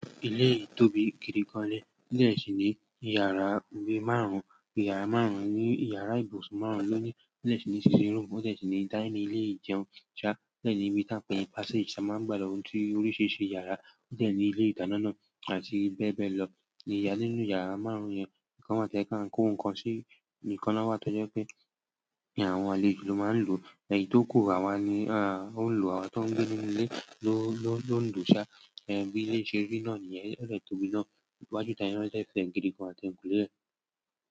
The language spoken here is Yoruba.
Ilé yìí tóbi gidi gan ni. Ilé sì ní ìyàrá bíi márùn-ún. Ìyàrá ibùsùn márùn-ún lọ́nìí. Ode sì ní sitting room, ó sì ní dining, ilé ìjẹun, ó sì ní ibítàn pẹ̀ni passage tí a máa ń gbà lọ sí oríṣiríṣi ìyàrá, ó sì ní ilé ìdáná náà àti bẹ́ẹ̀ bẹ́ẹ̀ lọ. Ìyàrá nínú ìyàrá márùn-ún yẹn nkan wáa to je pẹ áń kó ǹkan sí, íkan náà wa tọ́ jẹ́ pé àwọn àlejò ló máa ń lò, èyí tókù àwa ni an ó lò, àwa tó ń gbé nínú ilé ló ń lò ó sá. Bí ilé ṣe rí ná nìyẹn, odé tóbi náà. Iwájù itá yen na dẹ́ fẹ́ gidi gan, àti ẹyiǹkulé rẹ̀.